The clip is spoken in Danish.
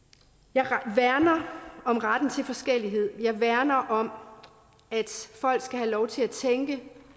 jeg værner om retten til forskellighed og jeg værner om at folk skal have lov til at tænke